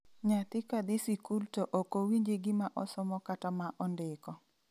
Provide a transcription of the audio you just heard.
Nyathi kadhi sikul to okowinji gima osomo kata ma ondiko.